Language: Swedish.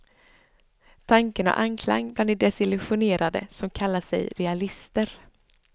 Tanken har anklang, bland de desillusionerade som kallar sig realister.